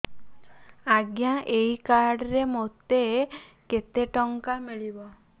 ଆଜ୍ଞା ଏଇ କାର୍ଡ ରେ ମୋତେ କେତେ ଟଙ୍କା ମିଳିବ